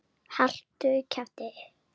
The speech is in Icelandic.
Haltu kjafti!